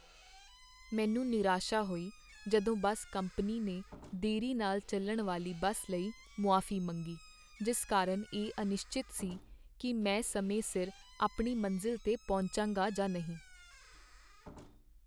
ਮੈਨੂੰ ਨਿਰਾਸ਼ਾ ਹੋਈ ਜਦੋਂ ਬੱਸ ਕੰਪਨੀ ਨੇ ਦੇਰੀ ਨਾਲ ਚੱਲਣ ਵਾਲੀ ਬੱਸ ਲਈ ਮੁਆਫ਼ੀ ਮੰਗੀ, ਜਿਸ ਕਾਰਨ ਇਹ ਅਨਿਸ਼ਚਿਤ ਸੀ ਕਿ ਮੈਂ ਸਮੇਂ ਸਿਰ ਆਪਣੀ ਮੰਜ਼ਿਲ 'ਤੇ ਪਹੁੰਚਾਂਗਾ ਜਾਂ ਨਹੀਂ।